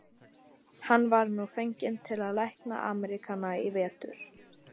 Hann var nú fenginn til að lækna Ameríkana í vetur.